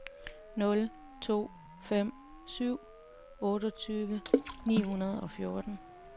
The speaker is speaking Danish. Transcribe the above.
nul to fem syv otteogtyve ni hundrede og fjorten